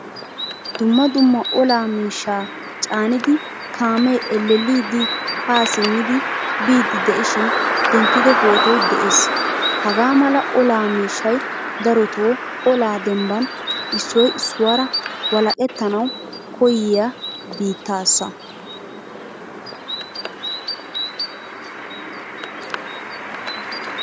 Dumma dumma ola miishsha caanida kaame elelidi ha simmidi biidi de'ishin denttido pootoy de'ees. Hagaa mala ola miishshay daroto ola demban issoy issuwara walaqettanawu koyiya biittaasa.